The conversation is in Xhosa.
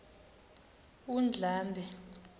undlambe